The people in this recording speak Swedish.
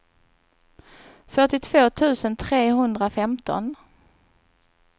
fyrtiotvå tusen trehundrafemton